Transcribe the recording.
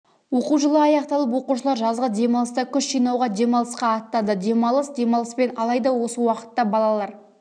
оқу жылы аяқталып оқушылар жазғы демалыста күш жинауға демалысқа аттанды демалыс демалыспен алайда осы уақытта балалар